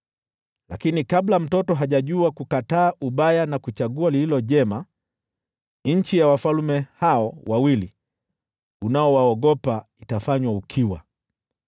Lakini kabla mtoto hajajua kukataa mabaya na kuchagua mema, nchi ya wafalme hao wawili unaowaogopa itafanywa ukiwa.